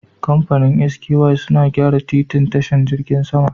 Kamfanin SKY suna gyara titin tashin jirgin sama